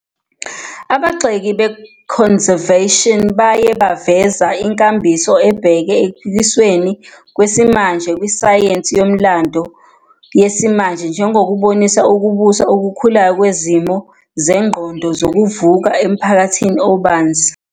Abagxeki be-Conservative baye baveza inkambiso ebheke ekuphikisweni kwesimanje kusayensi yomlando yesimanje njengokubonisa ukubusa okukhulayo kwezimo zengqondo " zokuvuka " emphakathini obanzi.